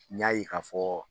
N y'a e k'a fɔ